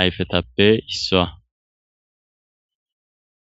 ayfetappe issaa.